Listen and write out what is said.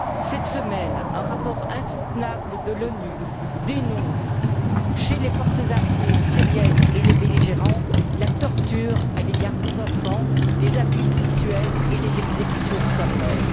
Cette semaine, un rapport insoutenable de l'ONU dénonce, chez les forces armées syriennes et les belligérants, la torture à l'égard des enfants, les abus sexuels et les exécutions sommaires.